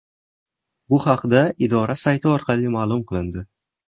Bu haqda idora sayti orqali ma’lum qilindi .